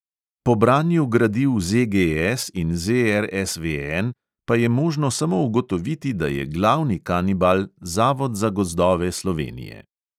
Po branju gradiv ZGS in ZRSVN pa je možno samo ugotoviti, da je glavni kanibal zavod za gozdove slovenije.